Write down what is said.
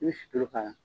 I bɛ sutulu k'a la